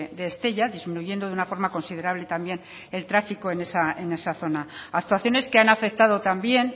de estella disminuyendo de una forma considerable también el tráfico en esa zona actuaciones que han afectado también